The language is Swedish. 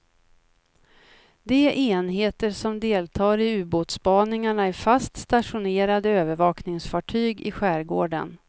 De enheter som deltar i ubåtsspaningarna är fast stationerade övervakningsfartyg i skärgården.